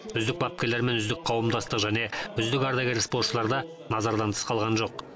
үздік бапкерлер мен үздік қауымдастық және үздік ардагер спортшылар да назардан тыс қалған жоқ